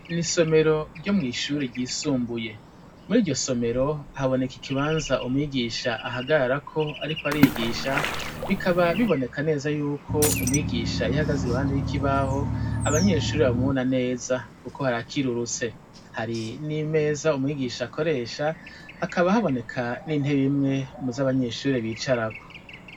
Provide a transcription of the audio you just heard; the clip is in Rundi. Mw'isomero ryo mw'ishure ryisumbuye. Muri iryo somero haboneka ikibanza umwigisha ahagararako ariko arigisha bikaba biboneka neza y'uko umwigisha iyo ahagaze iruhande y'ikibaho abanyeshure bamubona neza kuko harakirurutse. Hari n'imeza umwigisha akoresha, hakaba haboneka n'intebe imwe mu zo abanyeshure bicarako.